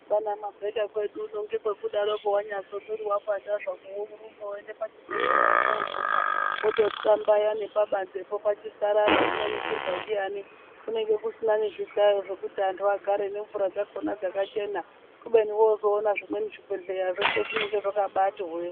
Kwaana mabeka kwedu uno ngekwekudaroko wanyazwe mwiri wapandazvako worumba woende pachibhehleyapo woguma wotothxlambaya nepabanzi po nepachisarara zvinoningirwa ndiyani kunenge kusina nezvihlayo zvokuti antu agare nemvura dzakona dzakachena kubeni woozoona zvimweni zvibhehleya zveshe zvinonga zvakabati hwe.